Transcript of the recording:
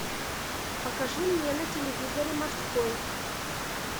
покажи мне на телевизоре морской